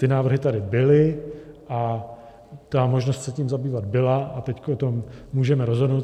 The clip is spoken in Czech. Ty návrhy tady byly a ta možnost se tím zabývat byla a teď o tom můžeme rozhodnout.